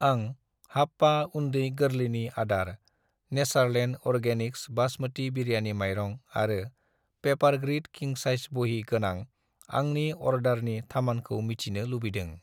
आं हाप्पा उन्दै-गोरलैनि आदार , नेचारलेण्ड अर्गेनिक्स बास्मति बिरियानि माइरं आरो पेपारग्रिड किं साइज बहि गोनां आंनि अर्डारनि थामानखौ मिथिनो लुबैदों।